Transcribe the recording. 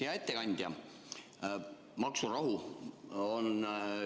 Hea ettekandja!